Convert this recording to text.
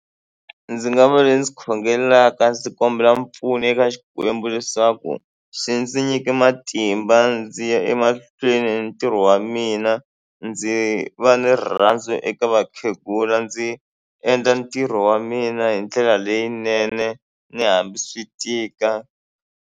Ndzi nga va le ndzi khongelaka ndzi kombela mpfuno eka Xikwembu leswaku xi ndzi nyike matimba ndzi ya emahlweni ni ntirho wa mina ndzi va ni rirhandzu eka vakhegula ndzi endla ntirho wa mina hi ndlela leyinene ni hambi swi tika.